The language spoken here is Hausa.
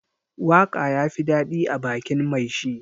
Waka ya fi dadi ã bakin mai shi.